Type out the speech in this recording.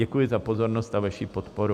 Děkuji za pozornost a vaši podporu.